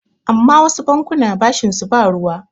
amma wasu bankuna bashinsu ba ruwa